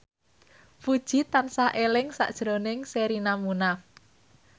Puji tansah eling sakjroning Sherina Munaf